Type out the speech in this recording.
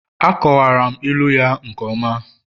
Akọwara m ilu ya nke ọma